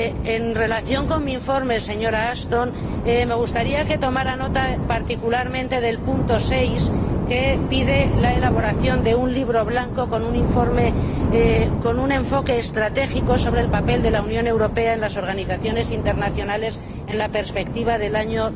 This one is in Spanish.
En relación con mi informe, señora Ashton, me gustaría que tomara nota particularmente del apartado 6, que pide la elaboración de un libro blanco con un enfoque estratégico sobre el papel de la Unión Europea en las organizaciones internacionales, de cara al año